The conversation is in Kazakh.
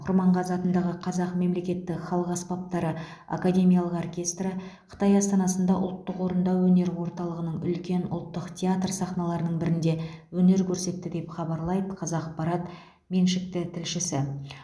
құрманғазы атындағы қазақ мемлекеттік халық аспаптары академиялық оркестрі қытай астанасында ұлттық орындау өнері орталығының үлкен ұлттық театр сахналарының бірінде өнер көрсетті деп хабарлайды қазақпарат меншікті тілшісі